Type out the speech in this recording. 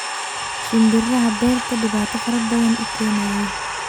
Shimbiraxa berta dibata farabadan uukenayin.